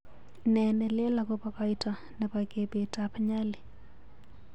Nee nelel akobo koito nebo kebeet ab Nyali